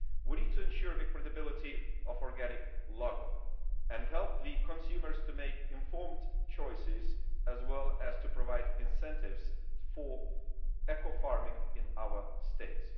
We need to ensure the credibility of the organic logo and help consumers make informed choices, as well as to provide incentives for eco farming in our states.